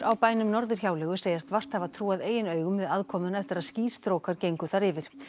á bænum Norðurhjáleigu segjast vart hafa trúað eigin augum við aðkomuna eftir að skýstrókar gengu þar yfir